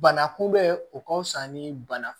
Bana kunbɛn o ka fisa ni bana